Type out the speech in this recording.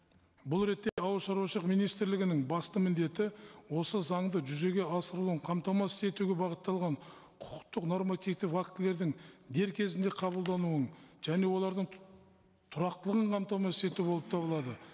бұл ретте ауылшаруашылық министрлігінің басты міндеті осы заңды жүзеге асырылуын қамтамасыз етуге бағытталған құқықтық нормативтік актілердің дер кезінде қабылдануын және олардың тұрақтылығын қамтамасыз ету болып табылады